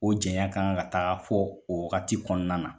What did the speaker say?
O jɛnyan kan ka taga fɔ o wagati kɔnɔna na.